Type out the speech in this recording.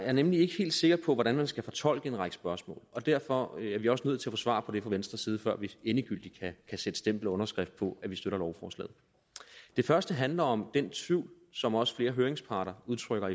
er nemlig ikke helt sikker på hvordan man skal fortolke en række spørgsmål og derfor er vi også nødt til at få svar på det fra venstres side før vi endegyldigt kan sætte stempel og underskrift på at vi støtter lovforslaget det første handler om den tvivl som også flere høringsparter udtrykker